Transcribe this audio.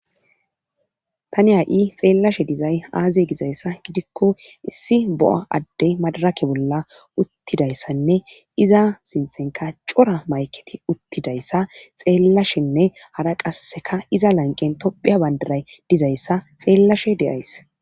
tani ha7i xeellashe dizay aaziye gizayssa gidikko issi bo7a addey madarake bolla uttidayssanne iza sinthenka cora mayketi uttidayssa xeellashenne hara qasseka iza lanqen tophiya bandaray dizayssa xeellashe deyays